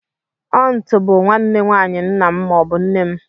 Auntú bụ nwanne nwayi ńnà m maọbu nne m.